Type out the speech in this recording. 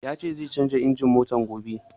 Ya ce zai canja injin ɗin motar gobe.